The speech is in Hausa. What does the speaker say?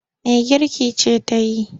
Mai girki ce ta yi.